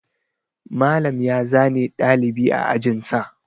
Malam ya zane ɗalibi a ajin sa.